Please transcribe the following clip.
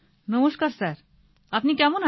নমস্কার স্যার আপনি কেমন আছেন